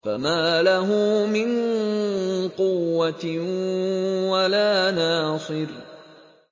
فَمَا لَهُ مِن قُوَّةٍ وَلَا نَاصِرٍ